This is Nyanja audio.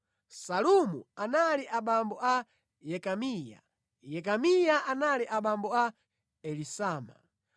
Salumu anali abambo a Yekamiya, Yekamiya anali abambo a Elisama.